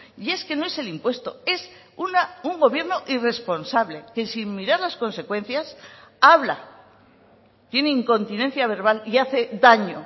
y es que no es el impuesto es un gobierno irresponsable que sin mirar las consecuencias habla tiene incontinencia verbal y hace daño